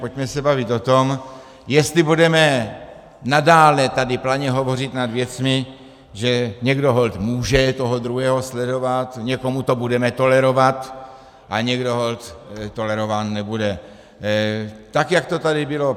Pojďme se bavit o tom, jestli budeme nadále tady planě hovořit nad věcmi, že někdo holt může toho druhého sledovat, někomu to budeme tolerovat a někdo holt tolerován nebude, tak jak to tady bylo.